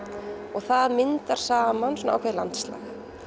og það myndar saman ákveðið landslag